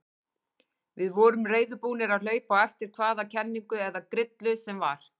Við vorum reiðubúnir að hlaupa á eftir hvaða kenningu eða grillu sem var.